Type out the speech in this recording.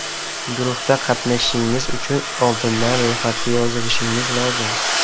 Guruhda qatnashishingiz uchun oldindan ro‘yxatga yozilishingiz lozim.